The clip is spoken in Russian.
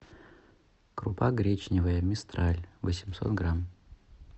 крупа гречневая мистраль восемьсот грамм